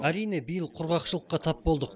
әрине биыл құрғақшылыққа тап болдық